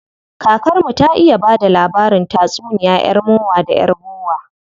Kakar mu ta iya bada labarin tatsuniya yar mowa da yar bowa.